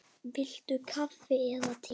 Viltu kaffi eða te?